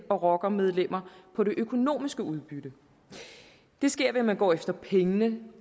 og rockermedlemmer på det økonomiske udbytte det sker ved at man går efter pengene